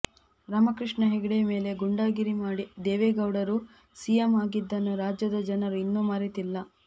ರಾಮಕೃಷ್ಣ ಹೆಗಡೆ ಮೇಲೆ ಗೂಂಡಾಗಿರಿ ಮಾಡಿ ದೇವೇಗೌಡರು ಸಿಎಂ ಆಗಿದ್ದನ್ನು ರಾಜ್ಯದ ಜನರು ಇನ್ನೂ ಮರೆತಿಲ್ಲ